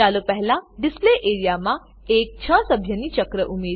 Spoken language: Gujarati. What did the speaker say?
ચાલો પહેલા ડિસ્પ્લે એઆરઇએ ડિસ્પ્લે એરીયા માં એક છ સભ્યી ચક્ર ઉમેરીએ